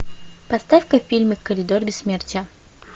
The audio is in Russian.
поставь ка фильмик коридор бессмертия